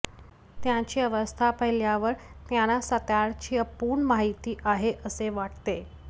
त्यांची अवस्था पाहिल्यावर त्यांना सातार्याची अपूर्ण माहिती आहे असे वाटते